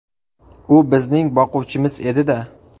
U bizning boquvchimiz edi-da.